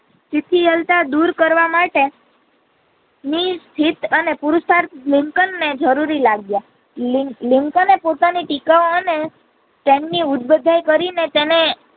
પીપીયાલતા દૂર કરવા માટે નીર સિદ્ધ અને પુરુષાર્થ લિંકન ને જરૂરી લાગિયું લિંકને પોતાની ટીકા અને તેમની ઉઢબલ કરી ને તેને.